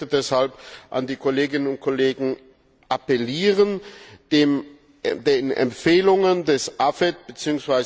Ich möchte deshalb an die Kolleginnen und Kollegen appellieren, den Empfehlungen des AFET bzw.